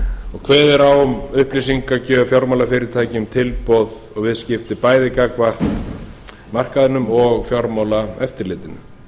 og kveðið er á um upplýsingagjöf fjármálafyrirtækja um tilboð og viðskipti bæði gagnvart markaðnum og fjármálaeftirlitinu þá